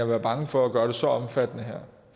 være bange for at gøre det så omfattende